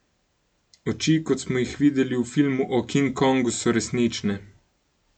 Oči, kot smo jih videli v filmu o King Kongu, so resnične ...